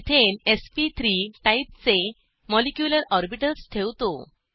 methane SP three type चे molecular orbitals ठेवतो